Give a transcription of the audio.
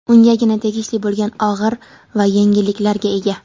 ungagina tegishli bo‘lgan og‘ir va yengilliklarga ega.